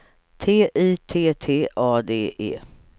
T I T T A D E